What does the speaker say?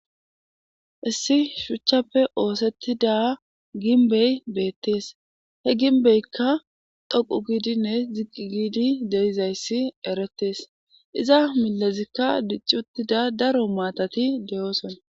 issi shuchchappe oosettida ginbey beettees he ginbeykka dhoqu giidinne ziqi giidi deizayssi erettees iza milezikka diccuttida daro maatati deyooson